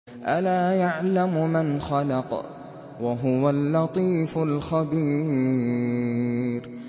أَلَا يَعْلَمُ مَنْ خَلَقَ وَهُوَ اللَّطِيفُ الْخَبِيرُ